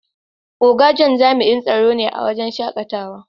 Oga John jami'in tsaro ne a waren shakatawa.